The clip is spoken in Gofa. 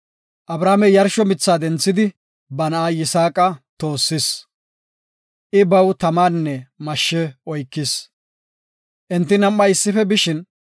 Abrahaamey yarshuwa mitha denthidi, ba na7a Yisaaqa toossis. I baw tamanne mashshe oykis. Enti nam7ay issife bishin;